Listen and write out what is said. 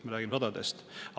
Me räägime sadadest.